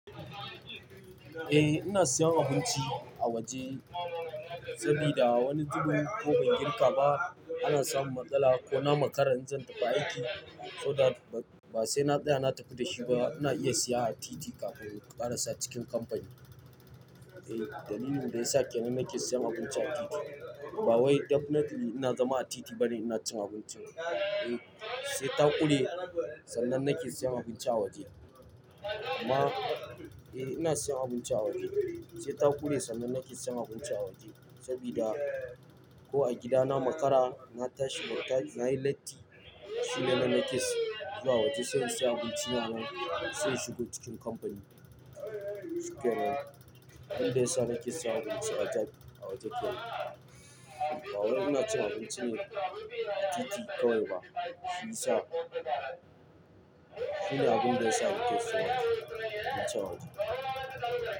Eh, ina siyan abinci a waje sabida wani zubin ko ban girka ba ana samun matsala ko na makara in zan tafi aiki, so that ba sai na tsaya na tafi da shi ba ina iya siya a titi kafin ku ƙarasa cikin kamfani. Eh, dalilin da ya sa kenan nake siyan abinci a titi. Ba wai definitely ina zama a titi bane ina cin abincin. Eh, sai ta ƙure sannan nake siyan abinci a waje. Amma, eh ina siyan abinci a waje. Sai ta ƙure sannan nake siyan abinci a waje sabida ko a gidana makara na tashi bata, nayi latti shine nan nake zuwa waje sai in siya abinci nan sai in shigo cikin kamfani. Abinda yasa nake siyan abinci a waje kenan. Ba wai ina cin abinci ne a titi kawai ba. Shi sa. Shi ne abinda yasa nake siyan abinci a waje.